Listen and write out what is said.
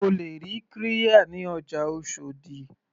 O lè ra qirya ní ọjà oshòdì.